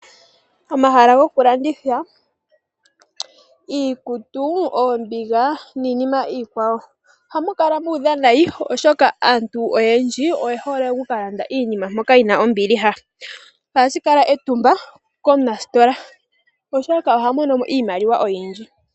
Omahala gokulanditha iikutu, oombiga niinima iikwawo ohamu kala mu udha nayi oshoka aantu oyendji oye hole oku ka landa iinima mpoka yina ombiliha. Ohashi kala etumba komunasitola oshoka oha mono mo iimaliwa oyindji.